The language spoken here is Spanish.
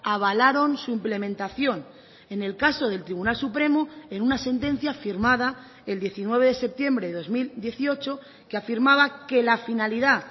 avalaron su implementación en el caso del tribunal supremo en una sentencia firmada el diecinueve de septiembre de dos mil dieciocho que afirmaba que la finalidad